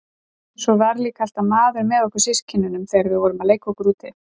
Svo var líka alltaf maður með okkur systkinunum þegar við vorum að leika okkur úti.